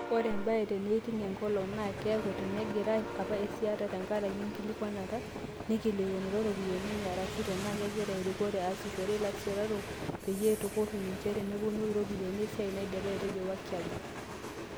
"Ore embaye te neiting enkolong naa keeku tenaakegiray apa aisitaa tenkaraki enkikilikkuana naikilikuanutua iropiyiani enye arashu tenaa kegira erikore aasishore ilasiitarok peyie itukuru ninje tenipotu irropyiani esiai naidipa," Etejo Wakiaga.